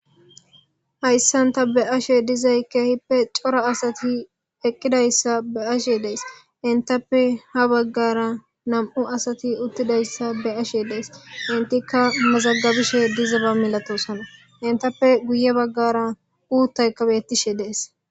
Ha issan ta be7ashe dizay keehippe cora asati eqqidayssa be7ashe days; henththappe ha baggaara nam7u asathi uththidayssa be7ashe days; henththikka mazagabishe dizaba milatoosona; henththappe guyye baggaara uuththaykka beeththishe de7ees.